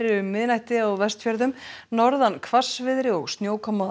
um miðnætti á Vestfjörðum norðan hvassviðri og snjókoma